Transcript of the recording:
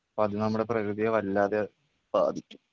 അപ്പോ അത് നമ്മുടെ പ്രകൃതിയെ വല്ലാതെ ബാധിക്കും.